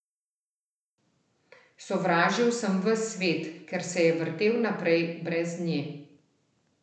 Sovražil sem ves svet, ker se je vrtel naprej brez nje.